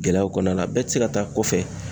Gɛlɛyaw kɔnɔna na bɛɛ te se ka taa kɔfɛ